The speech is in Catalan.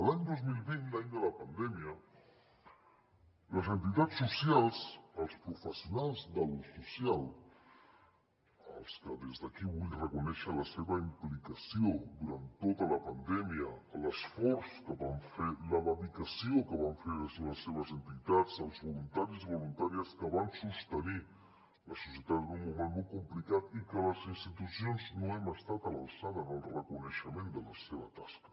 l’any dos mil vint l’any de la pandèmia les entitats socials els professionals de lo social als que des d’aquí vull reconèixer la seva implicació durant tota la pandèmia l’esforç que van fer la dedicació que van fer des de les seves entitats els voluntaris i voluntàries que van sostenir la societat en un moment molt complicat i que les institucions no hem estat a l’alçada en el reconeixement de la seva tasca